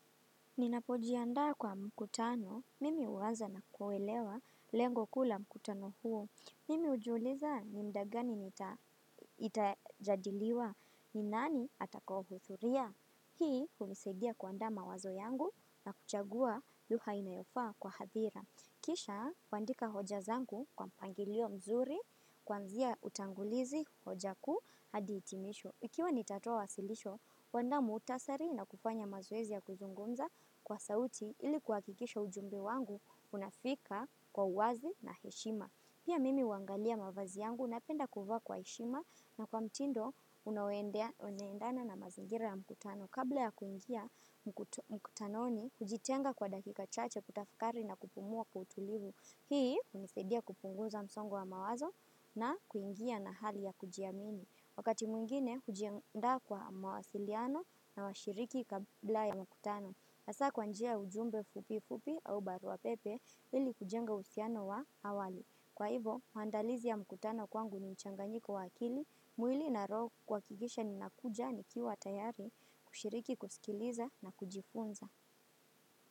Ninapojiandaa kwa mkutano, mimi huanza na kuelewa lengo kuu la mkutano huo. Mimi hujiuliza ni muda gani nita itajadiliwa ni nani atakaohudhuria. Hii, hunisaidia kuandaa mawazo yangu na kuchagua lugha inayofaa kwa hadhira. Kisha, kuandika hoja zangu kwa mpangilio mzuri, kuanzia utangulizi hoja kuu, hadi itimisho. Ikiwa nitatoa wasilisho, kuandaa muutasari na kufanya mazoezi ya kuzungumza kwa sauti ili kuhakikisha ujumbe wangu unafika kwa uwazi na heshima. Pia mimi huangalia mavazi yangu napenda kuvaa kwa heshima na kwa mtindo unaoendana na mazingira ya mkutano. Kabla ya kuingia mkutanoni, kujitenga kwa dakika chache kutafakari na kupumua kwa utulivu. Hii, hunisaidia kupunguza msongo wa mawazo na kuingia na hali ya kujiamini. Wakati mwingine, hujiandaa kwa mawasiliano na washiriki kabla ya mkutano. Hasaa kwa njia ya ujumbe fupi fupi au barua pepe ili kujenga uhusiano wa awali. Kwa hivo, maandalizi ya mkutano kwangu ni mchanganyiko wa kili, mwili na roho kuhakikisha ninakuja nikiwa tayari, kushiriki, kusikiliza na kujifunza.